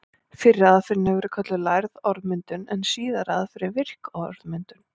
Fyrri aðferðin hefur verið kölluð lærð orðmyndun en síðari aðferðin virk orðmyndun.